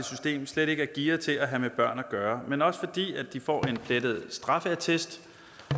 system slet ikke er gearet til at have med børn at gøre men også fordi de får en plettet straffeattest